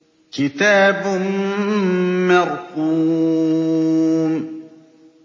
كِتَابٌ مَّرْقُومٌ